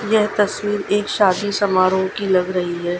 यह तस्वीर एक शादी समारोह की लग रही है।